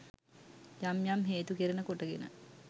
යම් යම් හේතු කරන කොටගෙන